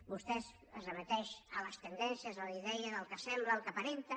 vostè es remet a les tendències a les idees al que sembla al que aparenta